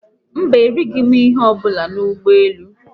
Mba, erịghi m ihe ọbụla n'ụgbọelu